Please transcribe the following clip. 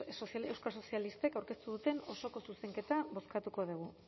euskal sozialistek aurkeztu duten osoko zuzenketa bozkatuko dugu